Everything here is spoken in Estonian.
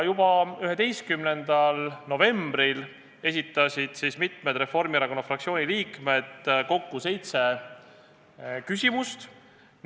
Juba 11. novembril esitasid mitmed Reformierakonna fraktsiooni liikmed selle kohta kokku seitse küsimust.